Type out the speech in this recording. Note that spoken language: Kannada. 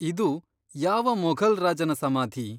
ಇದು ಯಾವ ಮೊಘಲ್ ರಾಜನ ಸಮಾಧಿ?